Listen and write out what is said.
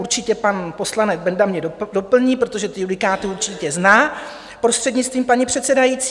Určitě pan poslanec Benda mě doplní, protože ty judikáty určitě zná, prostřednictvím paní předsedající.